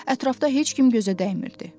Ətrafda heç kim gözə dəymirdi.